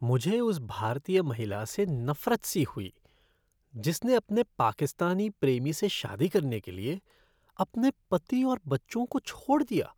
मुझे उस भारतीय महिला से नफ़रत सी हुई जिसने अपने पाकिस्तानी प्रेमी से शादी करने के लिए अपने पति और बच्चों को छोड़ दिया।